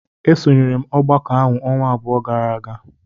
Esonyere m ọgbakọ ahụ ọnwa abụọ gara aga.